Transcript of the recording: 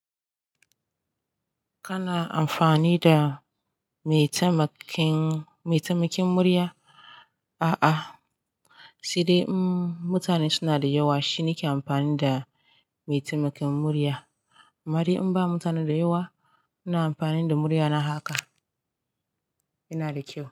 Kana amfani da maitamakin, maitamakin murya? A'a, sai dai in mutane suna da yawa shi nike amfani da maitamakin murya. Amma dai in ba mutane da yawa, ina amfani da muryana haka, yana da kyau.